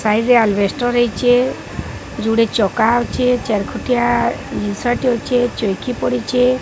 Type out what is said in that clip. Side ରେ ଆଲି ବେଷ୍ଟର ହେଇଚେ ଜୁଡ଼େ ଚକା ଅଛେ ଚାରିଖଟିଆ ଦିଷ୍ନ ଟେ ଅଛେ ଚୋଉକି ପଟିଚେ ।